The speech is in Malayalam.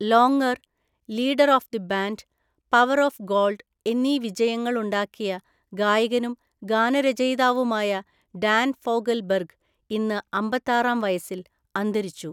Longer, leader of the band, power of gold എന്നീ വിജയങ്ങൾ ഉണ്ടാക്കിയ ഗായകനും ഗാനരചയിതാവുമായ ഡാൻ ഫോഗൽബെർഗ് ഇന്ന് അമ്പത്താറാം വയസ്സിൽ അന്തരിച്ചു.